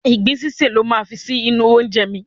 Ìgbín sísè lo máa fi sí inú oúnjẹ mi.